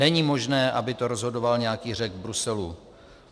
Není možné, aby to rozhodoval nějaký Řek v Bruselu.